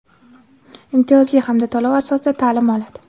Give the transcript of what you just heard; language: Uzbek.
imtiyozli hamda to‘lov asosida ta’lim oladi.